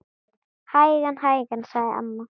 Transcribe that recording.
Hægan, hægan sagði amma.